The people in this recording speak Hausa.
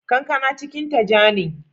Kankana cikinta ja ne.